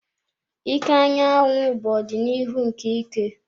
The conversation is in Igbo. Ike anyanwụ bụ ọdịnihu nke ike.